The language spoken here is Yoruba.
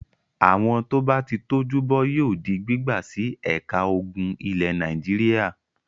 Àwọn tó bá ti tọ́jú bọ́ yóò di gbígbà sí ẹ̀ka ogun ilẹ̀ Nàìjíríà.